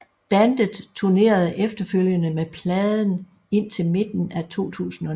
Bandet turnerede efterfølgende med pladen indtil midten af 2009